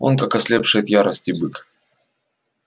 он как ослепший от ярости бык